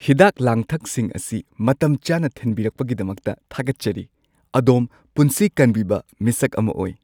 ꯍꯤꯗꯥꯛ-ꯂꯥꯡꯊꯛꯁꯤꯡ ꯑꯁꯤ ꯃꯇꯝꯆꯥꯅ ꯊꯤꯟꯕꯤꯔꯛꯄꯒꯤꯗꯃꯛꯇ ꯊꯥꯒꯠꯆꯔꯤ꯫ ꯑꯗꯣꯝ ꯄꯨꯟꯁꯤ ꯀꯟꯕꯤꯕ ꯃꯤꯁꯛ ꯑꯃ ꯑꯣꯏ꯫